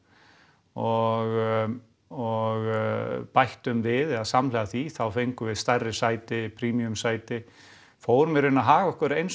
og og bættum við eða samhliða því þá fengum við stærri sæti premium sæti fórum í raun að haga okkur eins